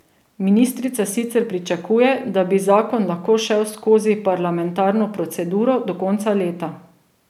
Ministrica sicer pričakuje, da bi zakon lahko šel skozi parlamentarno proceduro do konca leta.